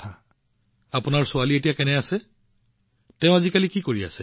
সুনীলজী আপোনাৰ ছোৱালী এতিয়া কেনে আছে তেওঁ আজিকালি কি কৰি আছে